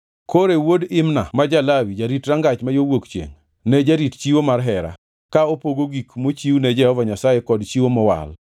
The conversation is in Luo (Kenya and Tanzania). Kore wuod Imna ma ja-Lawi, jarit rangach ma yo wuok chiengʼ, ne jarit chiwo mar hera, ka opogo gik mochiwne Jehova Nyasaye kod chiwo mowal.